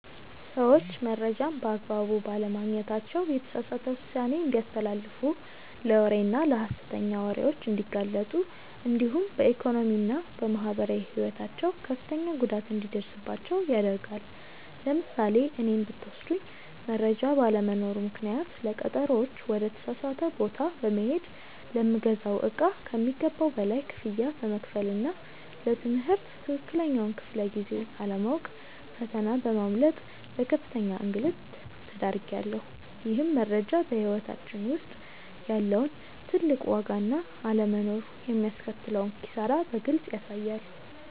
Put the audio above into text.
ሰዎች መረጃን በአግባቡ ባለማግኘታቸው የተሳሳተ ውሳኔ እንዲያስተላልፉ ለወሬና ለሐሰተኛ ወሬዎች እንዲጋለጡ እንዲሁም በኢኮኖሚና በማህበራዊ ሕይወታቸው ከፍተኛ ጉዳት እንዲደርስባቸው ያደርጋል። ለምሳሌ እኔን ብትወስዱኝ መረጃ ባለመኖሩ ምክንያት ለቀጠሮዎች ወደ ተሳሳተ ቦታ በመሄድ፣ ለምገዛው እቃ ከሚገባው በላይ ክፍያ በመክፈልና ለ ትምህርት ትክክለኛውን ክፍለ-ጊዜ አለማወቅ ፈተና በማምለጥ ለከፍተኛ እንግልት ተዳርጌያለሁ። ይህም መረጃ በሕይወታችን ውስጥ ያለውን ትልቅ ዋጋና አለመኖሩ የሚያስከትለውን ኪሳራ በግልጽ ያሳያል።